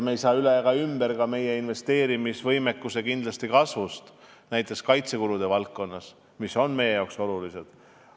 Me ei saa üle ega ümber ka meie investeerimisvõimekuse kasvust näiteks kaitsekulude valdkonnas, mis on meile olulised.